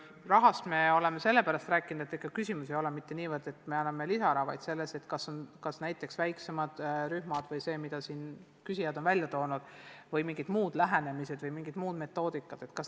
Rahast me oleme sellepärast rääkinud, et lahendus ei ole küll lihtsalt lisaraha andmises, aga näiteks väiksemad rühmad või küsijate välja toonud mingid muud lahendused või mingid muud metoodikad vajavad raha.